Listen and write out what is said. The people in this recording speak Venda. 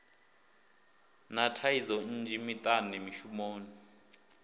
na thaidzo nnzhi miṱani mishumoni